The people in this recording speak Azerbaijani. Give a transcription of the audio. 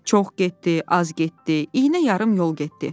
Çox getdi, az getdi, iynə yarım yol getdi.